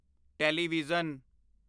television